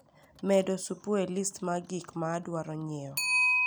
medo supu e list mar gik ma adwaro nyiewo